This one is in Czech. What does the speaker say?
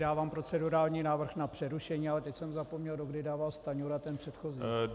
Dávám procedurální návrh na přerušení, ale teď jsem zapomněl, do kdy dával Stanjura ten předchozí.